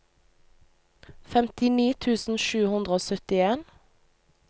femtini tusen sju hundre og syttien